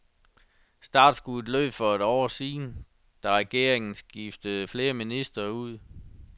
Startskuddet lød for et år siden, da regeringen skiftede flere ministre ud.